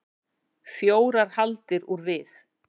Fjórar hagldir úr við.